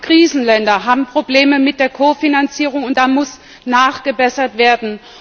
Gerade die Krisenländer haben Probleme mit der Ko Finanzierung, und da muss nachgebessert werden.